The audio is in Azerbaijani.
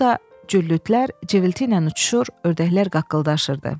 Burda cüllütlər civilti ilə uçuşur, ördəklər qaqqıldaşırdı.